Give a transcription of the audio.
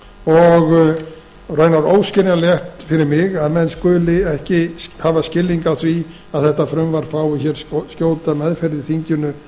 og raunar óskiljanlegt fyrir mig að menn skuli ekki hafa skilning á því að þetta frumvarp fái hér skjóta meðferð í þinginu